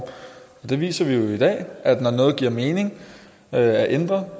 der viser vi jo i dag at når noget giver mening at ændre